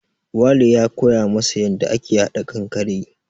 Wale ya koya masa yanda ake haɗa kankare